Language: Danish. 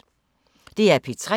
DR P3